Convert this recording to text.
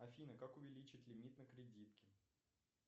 афина как увеличить лимит на кредитке